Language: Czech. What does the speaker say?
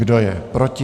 Kdo je proti?